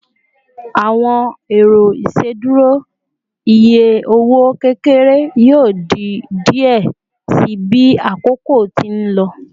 Awọn ero iṣeduro iye owo kekere yoo di diẹ sii bi akoko ti n lọ